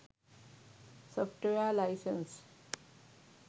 software license